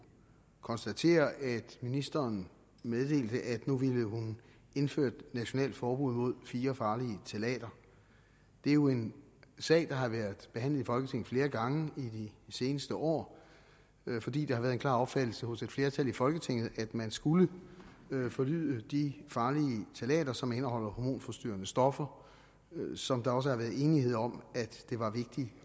konstatere at ministeren meddelte at nu ville hun indføre et nationalt forbud mod fire farlige ftalater det er jo en sag der har været behandlet i folketinget flere gange i de seneste år fordi det har været en klar opfattelse hos et flertal i folketinget at man skulle forbyde de farlige ftalater som indeholder hormonforstyrrende stoffer som der også har været enighed om at det var vigtigt